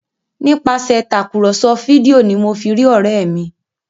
Nípasẹ Tàkùrọ̀sọ fídíò ní mọ fí rí òré mí